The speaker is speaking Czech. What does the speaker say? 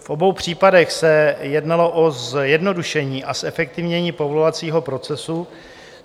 V obou případech se jednalo o zjednodušení a zefektivnění povolovacího procesu.